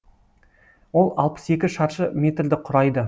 ол алпыс екі шаршы метрді құрайды